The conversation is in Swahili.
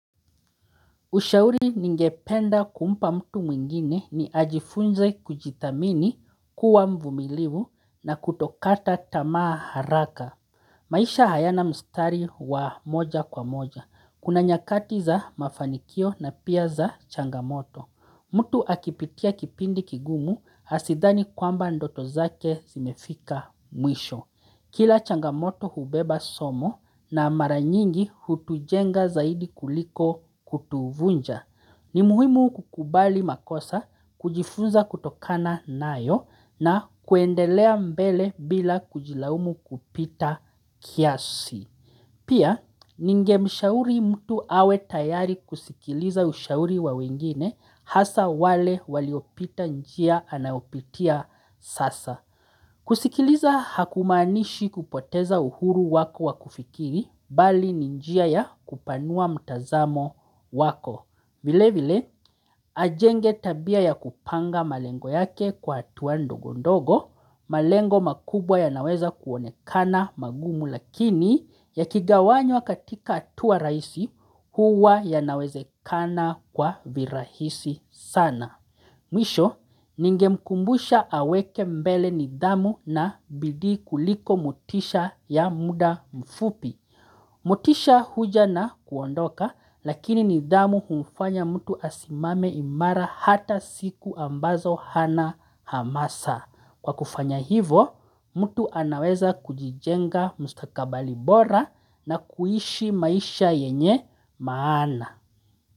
Ushauri ningependa kumpa mtu mwingine ni ajifunze kujithamini kuwa mvumiliwu na kutokata tamaa haraka. Maisha hayana mstari wa moja kwa moja. Kuna nyakati za mafanikio na pia za changamoto. Mtu akipitia kipindi kigumu asidhani kwamba ndoto zake zimefika mwisho. Kila changamoto hubeba somo na mara nyingi hutujenga zaidi kuliko kutuvunja. Ni muhimu kukubali makosa, kujifunza kutokana nayo na kuendelea mbele bila kujilaumu kupita kiasi. Pia, ningemshauri mtu awe tayari kusikiliza ushauri wa wengine hasa wale waliopita njia anayopitia sasa. Kusikiliza hakumanishi kupoteza uhuru wako wakufikiri, bali ni njia ya kupanua mtazamo wako. Vile vile ajenge tabia ya kupanga malengo yake kwa hatuwa ndogo ndogo malengo makubwa yanaweza kuonekana magumu lakini yakigawanywa katika hatuwa raisi huwa yanawezekana kwa virahisi sana. Mwisho, ningemkumbusha aweke mbele nidhamu na bidii kuliko motisha ya muda mfupi. Motisha huja na kuondoka lakini nidhamu humfanya mtu asimame imara hata siku ambazo hana hamasa. Kwa kufanya hivo, mtu anaweza kujijenga mustakabali bora na kuishi maisha yenye maana.